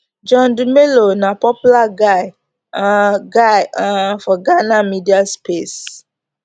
john dumelo na popular guy um guy um for ghana media space